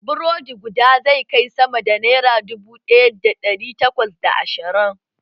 Burodi guda zai kai sama da naira dubu daya da dari takwas da ashirin